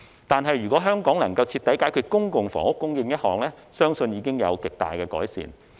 但是，如果香港能夠徹底解決公共房屋供應問題，相信貧富懸殊情況已經會有極大的改善。